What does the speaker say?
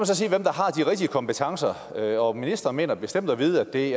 så sige hvem der har de rigtige kompetencer og ministeren mener bestemt at vide at det